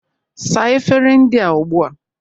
Saa efere ndị a ugbu a!